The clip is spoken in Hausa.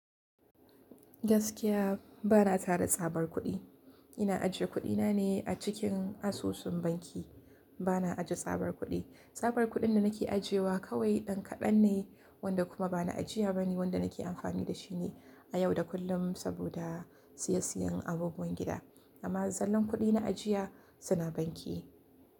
Gaskiya ba na tara tsabar kuɗi. Ina ajiye kuɗina ne a cikin asusun banki. Ba na ajiye tsabar kuɗi. Tsabar kuɗin da nake ajiyewa kawai ɗan kaɗan ne wanda kuma ba na ajiye ba ne wanda nake amfani da shi ne a yau da kullum saboda siyayyen abubuwan gida. Amma zallan kuɗi na ajiya suna banki.